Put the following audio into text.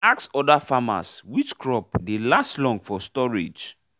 asks other farmers which crop dey last long for storage